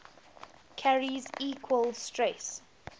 carries equal stress